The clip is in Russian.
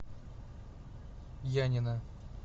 янина